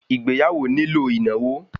Ìgbéyàwó nílò ìnáwó